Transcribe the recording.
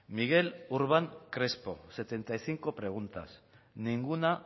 miguel urbán crespo setenta y cinco preguntas ninguna